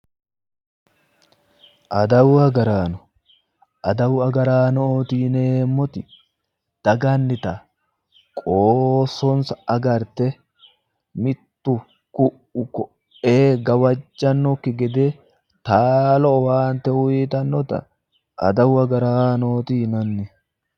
Adawu agaraano, adawu agaraanoti yineemmoti dagannita qoosonsa agarte mittu ku'u koee gawajjannokki gede taalo owaante uyitannota adawu agaraanootti yinanni.